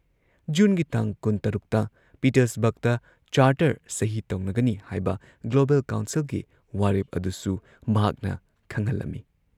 ꯖꯨꯟꯒꯤ ꯇꯥꯡ ꯀꯨꯟꯇꯔꯨꯛꯇ ꯄꯤꯇꯔꯁꯕꯔꯒꯇ ꯆꯥꯔꯇꯔ ꯁꯍꯤ ꯇꯧꯅꯒꯅꯤ ꯍꯥꯏꯕ ꯒ꯭ꯂꯣꯕꯦꯜ ꯀꯥꯎꯟꯁꯤꯜꯒꯤ ꯋꯥꯔꯦꯞ ꯑꯗꯨꯁꯨ ꯃꯍꯥꯛꯅ ꯈꯪꯍꯜꯂꯝꯏ ꯫